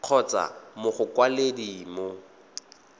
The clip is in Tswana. kgotsa mo go mokwaledi mo